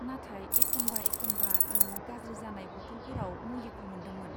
नाथाय एखनबा एखनबा आं गाज्रि जानाय बथलफोराव मुलिखौ मोन्दोंमोन।